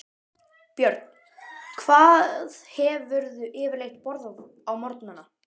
Björn: Hvað hefurðu yfirleitt borðað á morgnanna?